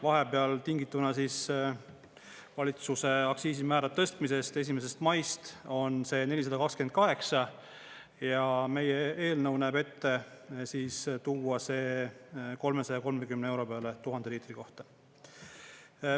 Vahepeal tingituna siis valitsuse aktsiisimäära tõstmisest 1. maist on see 428 ja meie eelnõu näeb ette tuua see 330 euro peale 1000 liitri kohta.